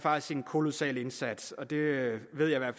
en kolossal indsats og det ved jeg at